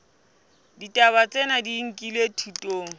ditaba tsena di nkilwe thutong